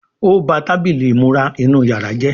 O bá Tábìlì ìmúra inú yàrá jé